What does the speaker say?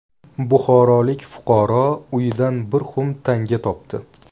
Buxorolik fuqaro uyidan bir xum tanga topdi .